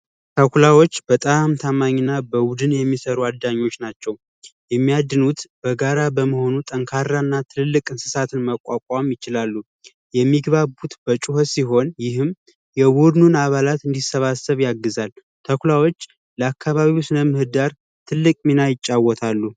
ተኩላዎች በጣም ታማኝና በቡድን የሚሰሩ አዳኞች ናቸው የሚያድኑት በጋራ በመሆኑ ጠንካራና ትልቅ እንስሳትን መቋቋም ይችላሉ የሚግባቡት በጩኸት ሲሆን ይህም አባላት እንዲሰባሰብ ያግዛል ተኩላዎች ለአካባቢው ስነ ምህዳር ትልቅ ሚና ይጫወታሉ